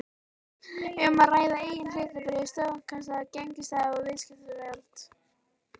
um að ræða eigin hlutabréf, stofnkostnað, gengistap og viðskiptavild.